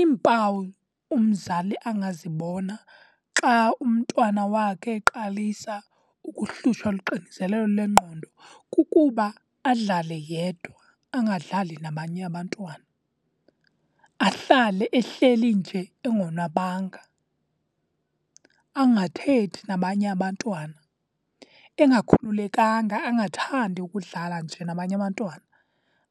Iimpawu umzali angazibona xa umntwana wakhe eqalisa ukuhlutshwa luxinzelelo lwengqondo kukuba adlale yedwa, angadlali nabanye abantwana. Ahlale ehleli nje engonwabanga, angathethi nabanye abantwana. Engakhululekanga, angathandi ukudlala nje nabanye abantwana,